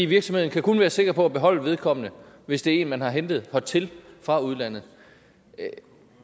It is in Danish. virksomheden kan kun være sikker på at beholde vedkommende hvis det er en man har hentet hertil fra udlandet